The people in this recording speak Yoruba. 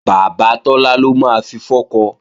Bàbá Tọ́lá ló máa fi fọ́kọ